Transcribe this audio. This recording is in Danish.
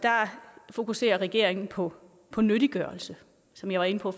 fokuserer regeringen på på nyttiggørelse som jeg var inde på